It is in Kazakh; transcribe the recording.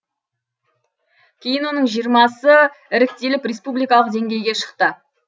кейін оның жиырмасы іріктеліп республикалық деңгейге шықты